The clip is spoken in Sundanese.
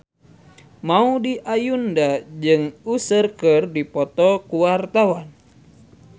Maudy Ayunda jeung Usher keur dipoto ku wartawan